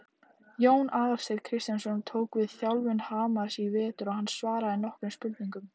Jón Aðalsteinn Kristjánsson tók við þjálfun Hamars í vetur og hann svaraði nokkrum spurningum.